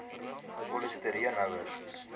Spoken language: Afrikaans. polisti reen houers